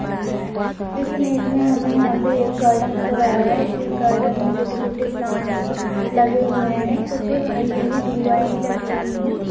इस इमेज में हमे यहाँ पे एक गार्डन नजर आ रहा है इस गार्डन में छोटे छोटे प्लांट्स लगे हुए है कुछ हरी हरी दुर्वाये भी लगी हुई है।